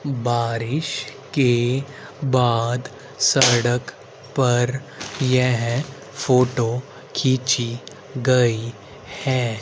बारिश के बाद सड़क पर यह फोटो खींची गई है।